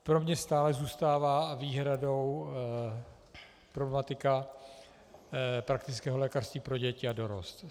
Pro mě stále zůstává výhradou problematika praktického lékařství pro děti a dorost.